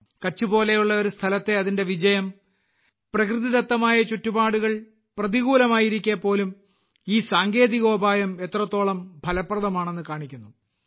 കച്ച് പോലെയുള്ള ഒരു സ്ഥലത്തെ അതിന്റെ വിജയം പ്രകൃതിദത്തമായ ചുറ്റുപാടുകൾ പ്രതികൂലമായിരിക്കെ പോലും ഈ സാങ്കേതികോപായം എത്രത്തോളം ഫലപ്രദമാണെന്ന് കാണിക്കുന്നു